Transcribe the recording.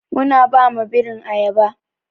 Muna ba ma birin ayaba.